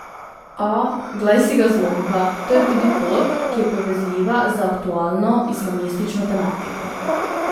A, glej si ga zlomka, to je tudi pot, ki je povezljiva z aktualno islamistično tematiko.